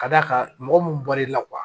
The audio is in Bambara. Ka d'a kan mɔgɔ munnu bɔr'i la